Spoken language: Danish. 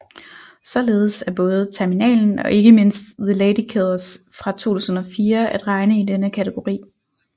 Således er både Terminalen og ikke mindst The Ladykillers fra 2004 at regne i denne kategori